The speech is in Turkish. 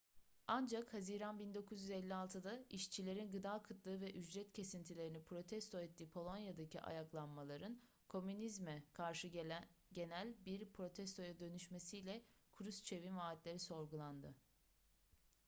ancak haziran 1956'da işçilerin gıda kıtlığı ve ücret kesintilerini protesto ettiği polonya'daki ayaklanmaların komünizme karşı genel bir protestoya dönüşmesiyle kruşçev'in vaatleri sorgulandı